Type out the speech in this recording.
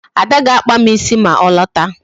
Ada ga-akpa m ịsị ma ọ lọta